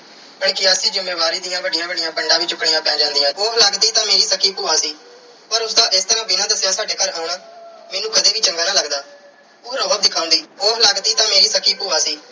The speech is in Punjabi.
ਜ਼ਿੰਮੇਵਾਰੀ ਦੀਆਂ ਵੱਡੀਆਂ ਵੱਡੀਆਂ ਪੰਡਾਂ ਵੀ ਚੁੱਕਣੀਆਂ ਪੈ ਜਾਂਦੀਆਂ। ਉਹ ਲੱਗਦੀ ਤਾਂ ਮੇਰੀ ਸਕੀ ਭੂਆ ਸੀ ਪਰ ਉਸ ਦਾ ਇਸ ਤਰ੍ਹਾਂ ਬਿਨਾਂ ਦੱਸਿਆਂ ਸਾਡੇ ਘਰ ਆਉਣਾ ਮੈਨੂੰ ਕਦੇ ਵੀ ਚੰਗਾ ਨਾ ਲੱਗਦਾ। ਉਹ ਰੋਅਬ ਦਿਖਾਉਂਦੀ। ਉਹ ਲੱਗਦੀ ਤਾਂ ਮੇਰੀ ਸੱਕੀ ਭੂਆ ਸੀ